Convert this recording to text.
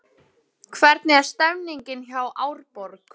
Hvernig er stemningin hjá Árborg?